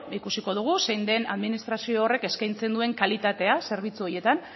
ikusiko dugu zein den administrazio horrek eskaintzen duen kalitatea zerbitzu horietan